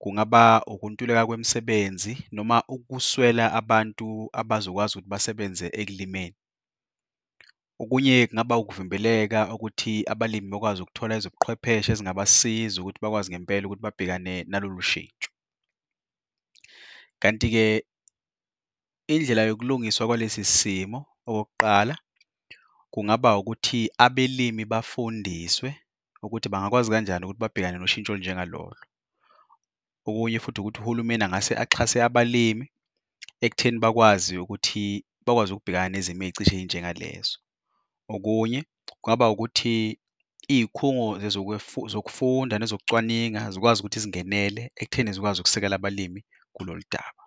Kungaba ukuntuleka kwemisebenzi noma ukuswela abantu abazokwazi ukuthi basebenze ekulimeni. Okunye kungaba ukuvimbeleka wokuthi abalimi bekwazi ukuthola ezobuqwepheshe ezingabasiza ukuthi bakwazi ngempela ukuthi babhekane nalo lushintsho. Kanti-ke indlela yokulungiswa kwalesi simo, okokuqala, kungaba ukuthi abelimi bafundiswe ukuthi bangakwazi kanjani ukuthi babhekane noshintsho olunjengaloyo. Okunye futhi ukuthi uhulumeni angase axhase abalimi ekutheni bakwazi ukuthi bakwazi ukubhekana nezimo ey'cishe eyinjengalezo. Okunye kungaba ukuthi iy'khungo zokufunda nezokucwaninga zikwazi ukuthi zingenele ekutheni zikwazi ukusekela abalimi kuloludaba.